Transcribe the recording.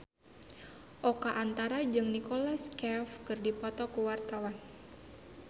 Oka Antara jeung Nicholas Cafe keur dipoto ku wartawan